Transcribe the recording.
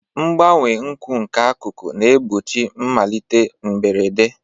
Mgbanwe nkwụ n'akụkụ na-egbochi mmalite mberede.